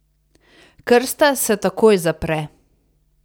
Krsta se takoj zapre.